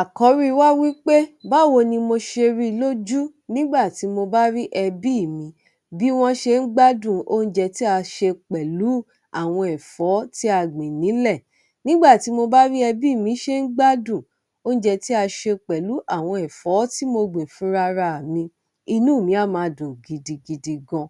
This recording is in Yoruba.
Àkọ́rí wá wípé báwo ni mo ṣe rí i lójú nígbà tí mo bá rí ẹbí mi bí wọ́n ṣe ń gbádùn oúnjẹ tí a ṣe pẹ̀lú àwọn ẹ̀fọ́ tí a gbìn nílẹ̀. Nígbà tí mo bá rí ẹbí mi ṣe ń gbádùn oúnjẹ tí a ṣe pẹ̀lú àwọn ẹ̀fọ́ tí mo gbìn fúnra ra mi, inú mi á máa dùn gidigidi gan.